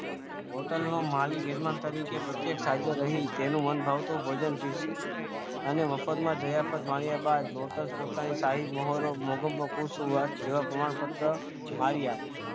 hotel માલિક યજમાન તરીકે પ્રત્યક્ષ હાજર રહી તેનો મન ભાવતું ભોજન પીરસે અને મફતમાં પોતાની શાહી મહોરો જેવા પ્રમાણપત્ર મારી આપે